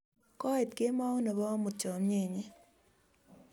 koit kemout nebo amut chamiyet nyin